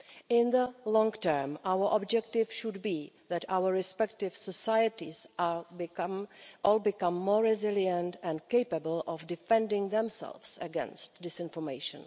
In the long term, our objective should be that our respective societies all become more resilient and capable of defending themselves against disinformation.